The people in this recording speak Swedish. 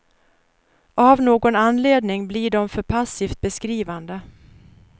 Av någon anledning blir de för passivt beskrivande.